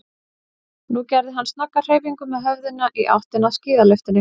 Nú gerði hann snögga hreyfingu með höfðinu í áttina að skíðalyftunni.